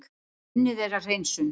Unnið er að hreinsun